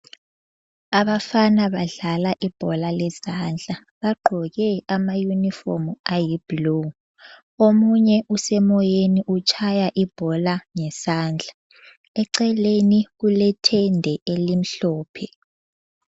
Abafana badlala ibhola lezandla. Bagqoke amayunifomu ayi blue. Omunye usemoyeni utshaya ibhola ngesandla. Eceleni kulethende elimhlophe.